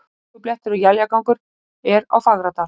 Hálkublettir og éljagangur er á Fagradal